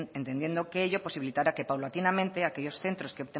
entendiendo que ello posibilitará que paulatinamente aquellos centros que